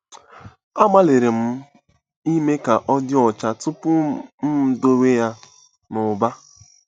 Agbalịrị m ime ka ọ dị ọcha tupu m m edowe ya n'ụba.